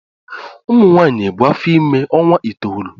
Ụmụ nwanyị na ebu afọ ime ọnwa itoolu.